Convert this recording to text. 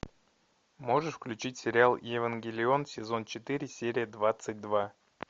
можешь включить сериал евангелион сезон четыре серия двадцать два